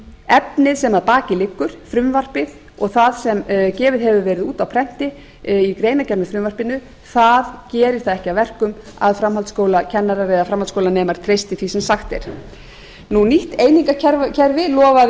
efnið sem að baki liggur frumvarpið og það sem gefið hefur verið út á prenti í greinargerð með frumvarpinu gerir það ekki að verkum að framhaldsskólakennarar eða framhaldsskólanemar treysti því sem sagt er nýju einingakerfi lofaði